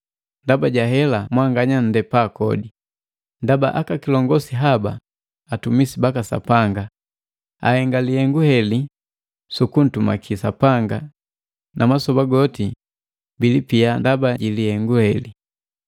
Ndaba ja hela mwanganya nndepa kodi, ndaba akakilongosi haba atumisi baka Sapanga ahenga lihengu heli sukuntumaki Sapanga na masoba goti bilipia ndaba ji lihengu heli.